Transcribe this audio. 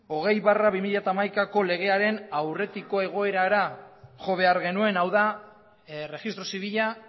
hogei barra bi mila hamaikako legearen aurretiko egoerara jo behar genuen hau da erregistro zibila